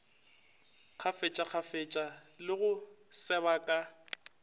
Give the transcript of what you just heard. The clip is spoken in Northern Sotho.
kgafetšakgafetša le go seba ka